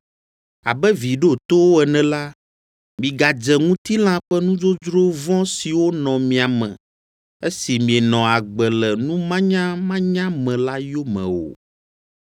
Abe vi ɖotowo ene la, migadze ŋutilã ƒe nudzodzro vɔ̃ siwo nɔ mia me, esi mienɔ agbe le numanyamanya me la yome o,